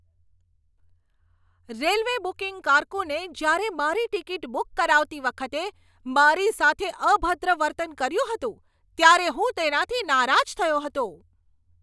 Railway booking કારકુને જ્યારે મારી ટિકિટ બુક કરાવતી વખતે મારી સાથે અભદ્ર વર્તન કર્યું હતું ત્યારે હું તેનાથી નારાજ થયો હતો.